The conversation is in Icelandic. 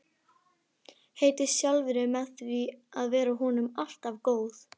Heiti sjálfri mér því að vera honum alltaf góð.